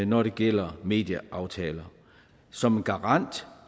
når det gælder medieaftaler som en garant